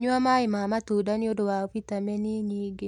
Nyua maĩ ma matunda nĩũndũ wa vitamini nyingĩ